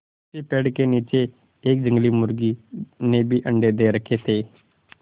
उसी पेड़ के नीचे एक जंगली मुर्गी ने भी अंडे दे रखें थे